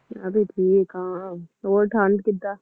ਮੈਂ ਵੀ ਠੀਕ ਆਂ, ਹੋਰ ਠੰਢ ਕਿੱਦਾਂ?